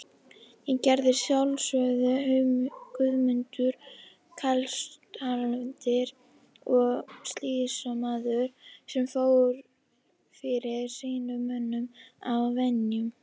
Það gerði að sjálfsögðu Guðmundur klausturhaldari og sýslumaður sem fór fyrir sínum mönnum að venju.